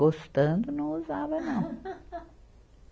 Gostando, não usava não.